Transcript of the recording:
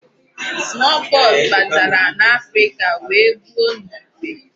Small pox batara n'Africa wee gbuo n'igwe.